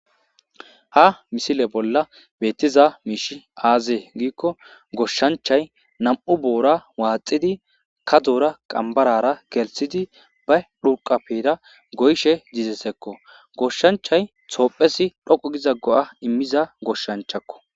Ha misile bolla betiza mishiy aze gikko goshancha 2 boora waxidi kadora qanbara gelithidi ba xurqapera goyishe dizaysako goshanchay tophiyas dhoqu giza go'a imizaysako